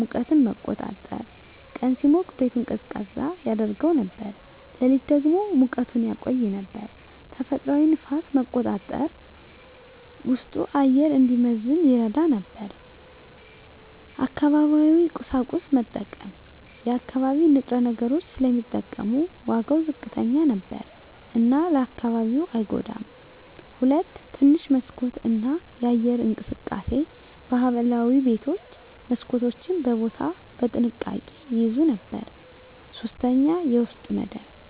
ሙቀትን መቆጣጠር – ቀን ሲሞቅ ቤቱን ቀዝቃዛ ያደርገው ነበር፣ ሌሊት ደግሞ ሙቀቱን ያቆይ ነበር። ተፈጥሯዊ ንፋስ መቆጣጠር – ውስጡ አየር እንዲመዘን ይረዳ ነበር። አካባቢያዊ ቁሳቁስ መጠቀም – የአካባቢ ንጥረ ነገሮች ስለሚጠቀሙ ዋጋው ዝቅተኛ ነበር እና ለአካባቢው አይጎዳም። 2. ትንሽ መስኮት እና የአየር እንቅስቃሴ ባህላዊ ቤቶች መስኮቶችን በቦታ በጥንቃቄ ይያዙ ነበር። 3. የውስጥ መደብ